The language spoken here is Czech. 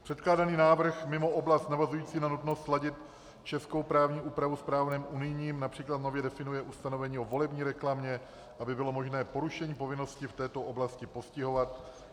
Předkládaný návrh mimo oblast navazující na nutnost sladit českou právní úpravu s právem unijním například nově definuje ustanovení o volební reklamě, aby bylo možné porušení povinnosti v této oblasti postihovat.